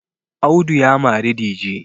Audu ya mari dije